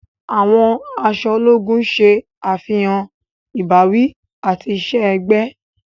Àwọn aṣọ ológùn ṣe àfihàn ìbáwí ati iṣẹ-ẹgbẹ.